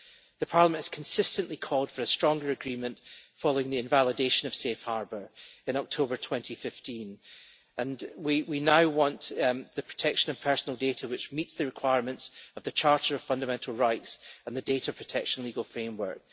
The Parliament has consistently called for a stronger agreement, following the invalidation of Safe Harbor in October 2015, and we now want the protection of personal data which meets the requirements of the Charter of Fundamental Rights and the data protection legal framework.